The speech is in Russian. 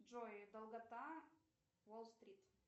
джой долгота уолл стрит